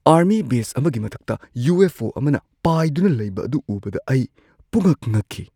Army base ꯑꯃꯒꯤ ꯃꯊꯛꯇ U. F. O. ꯑꯃꯅ ꯄꯥꯏꯗꯨꯅ ꯂꯩꯕ ꯑꯗꯨ ꯎꯕꯗ ꯑꯩ ꯄꯨꯝꯉꯛ-ꯉꯛꯈꯤ꯫